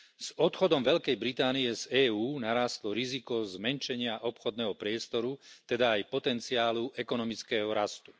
S odchodom Veľkej Británii z EÚ narástlo riziko zmenšenia obchodného priestoru, teda aj potenciálu ekonomického rastu.